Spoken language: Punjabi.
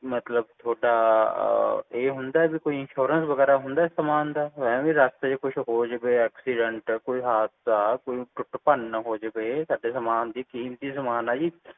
ਮਤਲਬ ਥੋੜਾ ਇਹ ਹੁੰਦਾ ਵੀ ਕੋਈ insurance ਵਗੈਰਾ ਹੁੰਦਾ ਏ ਸਾਮਾਨ ਦਾ ਐਵੇ ਹੀ ਰਾਸਤੇ ਚ ਕੋਈ ਹੋ ਜਾਵੇ accident ਹਾਦਸਾ ਕੋਈ ਟੁੱਟ ਭੰਨ ਨਾ ਹੋ ਜਾਵੇ ਸਾਡੇ ਸਾਮਾਨ ਦੀ ਕੀਮਤੀ ਸਾਮਾਨ ਆ ਜੀ